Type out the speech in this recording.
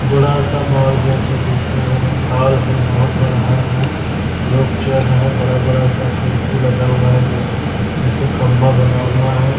बड़ा सा मॉल जैसा दिख रहा है हॉल है बहोत बड़ा हॉल है लोग चल रहे है बड़ा-बड़ा सा खिड़की लगा हुआ है गे जैसे खंभा बना हुआ है।